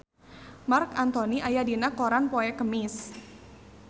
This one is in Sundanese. Marc Anthony aya dina koran poe Kemis